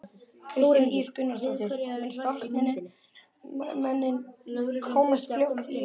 Kristín Ýr Gunnarsdóttir: Mun starfsemin komast fljótt í eðlilegt horf?